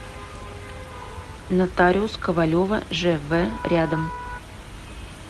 нотариус ковалева жв рядом